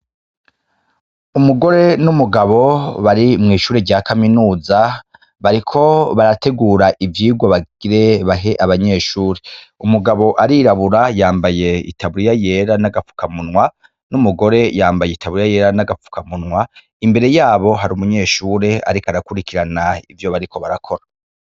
Umugore n'umugabo bari mw'ishure rya kaminuza bariko barategura ivyigwa bagire bahe abanyeshure, umugabo arirabura yambaye itaburiya yera n'agapfukamunwa n'umugore yambaye itaburiya yera n'agapfukamunwa imbere yabo hari umunyeshure ariko arakurikirana ivyo bariko barakora.